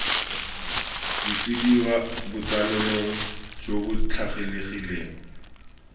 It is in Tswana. busediwa botsalano jo bo tlwaelegileng